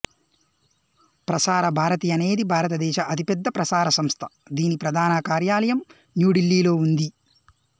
ప్రసార భారతి అనేది భారతదేశ అతిపెద్ద ప్రసార సంస్థ దీని ప్రధాన కార్యాలయం న్యూ ఢిల్లీ లో ఉంది